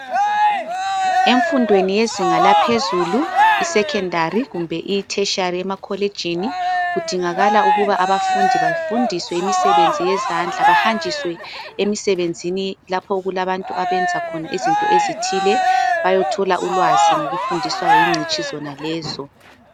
Emfundweni yezinga laphezulu isecondary kumbe itertiary emakolitshini, kudingakala ukuba abafundi. Bafundiswe imisebenzi yezandla ,bahanjiswe emisebenzini ,lapho okulabantu abenza khona izinto ezithile. Bayethola ulwazi ngokufundiswa zingcitshi zonalezo.